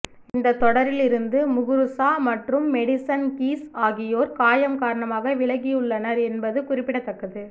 இந்த தொடரில் இருந்து முகுருசா மற்றும் மெடிசன் கீஸ் ஆகியோர் காயம் காரணமாக விலகியுள்ளனர் என்பது குறிப்பிடத்தக்கது